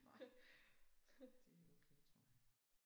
Nej det okay tror jeg